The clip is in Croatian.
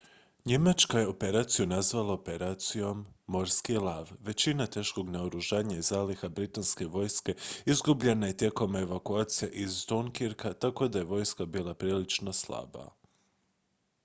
"njemačka je operaciju nazvala šifrom "operacija morski lav"". većina teškog naoružanja i zaliha britanske vojske izgubljena je tijekom evakucija iz dunkirka tako da je vojska bila prilično slaba.